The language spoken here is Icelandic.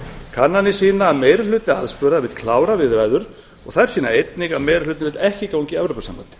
kannanir sýna að meiri hluti aðspurðra vill klára viðræður og þær sýna einnig að meiri hlutinn vill ekki ganga í evrópusambandið